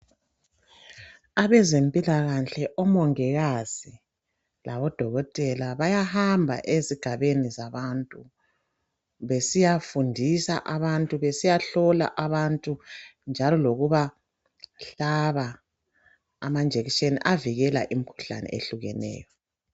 Abezempilakahle omongikazi labodokotela bayahamba ezigabeni zabantu .Besiyafundisa abantu ,besiyahlola abantu .Njalo lokubahlaba amajekiseni avikela imkhuhlane ehlukeneyo.